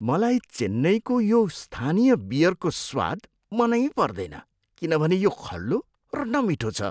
मलाई चेन्नईको यो स्थानीय बियरको स्वाद मनै पर्दैन किनभने यो खल्लो र नमिठो छ।